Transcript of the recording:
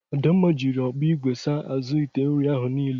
Adamma jiri ọgbọ igwe saa azụ ite nri ahụ niile.